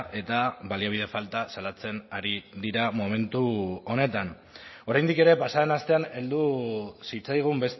eta baliabide falta salatzen ari dira momentu honetan oraindik ere pasa den astean heldu zitzaigun